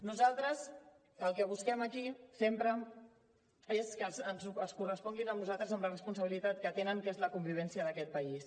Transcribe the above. nosaltres el que busquem aquí sempre és que responguin amb nosaltres en la responsabilitat que tenen que és la convivència d’aquest país